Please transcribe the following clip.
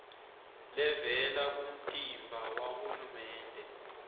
levela kumtimba wahulumende